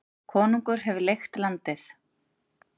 Konungur hefur leigt landið.